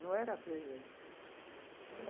Não era freira.